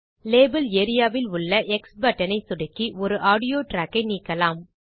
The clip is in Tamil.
லேபல் areaவில் உள்ள எக்ஸ் பட்டன் ஐ சொடுக்கி ஒரு ஆடியோ ட்ராக்கை நீக்கலாம்